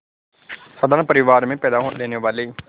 साधारण परिवार में पैदा लेने वाले